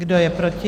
Kdo je proti?